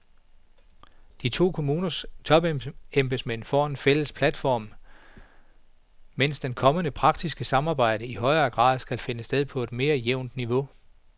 De to kommuners topembedsmænd får en fælles platform, mens det kommende, praktiske samarbejde i højere grad skal finde sted på mere jævnt niveau.